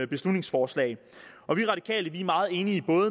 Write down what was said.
beslutningsforslag og vi radikale er meget enige